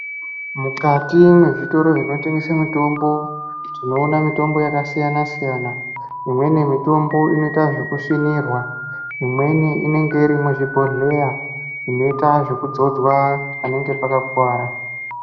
Mukati mwezvitoro zvinotengese mitombo tinoona mitombo yakasiyana siyana imweni mitombo inoita zvekusvinirwa imweni inenge irimuzvibhodhleya inoita zvekudzodzwa panenge pakakuwara.